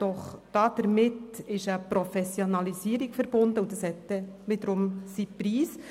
Doch damit ist eine Professionalisierung verbunden und eine solche hat ihren Preis.